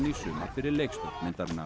í sumar fyrir leikstjórn myndarinnar